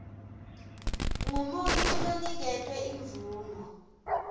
ngumuntfu loniketwe imvumo